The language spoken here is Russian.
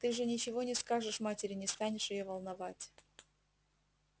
ты же ничего не скажешь матери не станешь её волновать